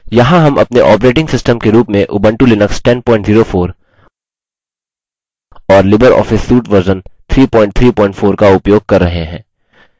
यहाँ हम अपने ऑपरेटिंग सिस्टम के रूप में उबंटु लिनक्स 1004 और लिबर ऑफिस सूट वर्जन 334 का उपयोग कर रहे हैं